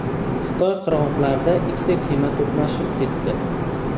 Xitoy qirg‘oqlarida ikkita kema to‘qnashib ketdi.